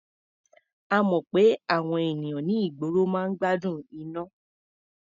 A mọ̀ pé àwọn ènìyàn ní ìgboro máa ń gbádùn iná.